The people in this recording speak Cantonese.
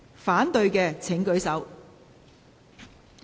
反對的請舉手。